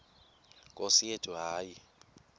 nkosi yethu hayi